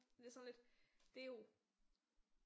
Det er sådan lidt det er jo